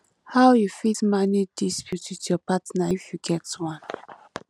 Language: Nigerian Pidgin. how you fit manage dispute with your partner if you get one